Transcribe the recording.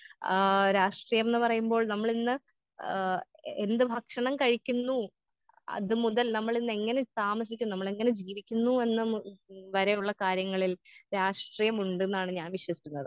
ആ രാഷ്ട്രീയംന്ന് പറയുമ്പോൾ നമ്മളിന്ന് ആ എന്ത് ഭക്ഷണം കഴിക്കുന്നു അത് മുതൽ നമ്മളിന്നെങ്ങനെ താമസിക്കുന്നു നമ്മളെങ്ങനെ ജീവിക്കുന്നു ഉം വരെയുള്ള കാര്യങ്ങളിൽ രാഷ്ട്രീയമുണ്ടെന്നാണ് ഞാൻ വിശ്വസിക്കുന്നത്.